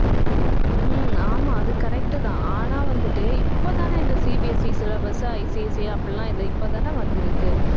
ஹம் ஆமா அது correct தான் ஆனா வந்துட்டு இப்ப தானே இந்த CBSEsyllabusICC அப்படி எல்லாம் இது இப்ப தானே வந்திருக்கு